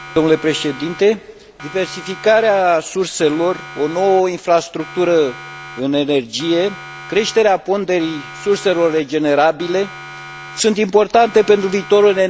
Diversificarea surselor, o nouă infrastructură în energie, creșterea ponderii surselor regenerabile sunt importante pentru viitorul energetic al Uniunii.